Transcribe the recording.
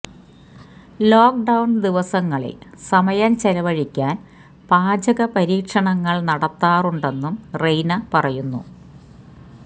lock down ദിവസങ്ങളില് സമയം ചെലവഴിക്കാന് പാചക പരീക്ഷണങ്ങള് നടത്താറുണ്ടെന്നും റെയ്ന പറയുന്നു